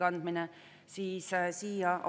Austatud Riigikogu liikmed!